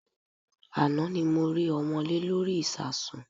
Àná ni mo rí ọmọ́lé lórí ìsasùn.